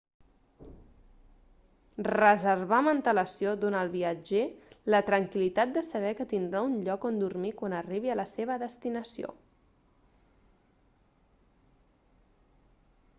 reservar amb antelació dona al viatger la tranquil·litat de saber que tindrà un lloc on dormir quan arribi a la seva destinació